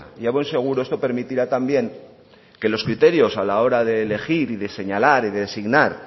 y a buen seguro esto permitirá también que los criterios a la hora de elegir y de señalar y de designar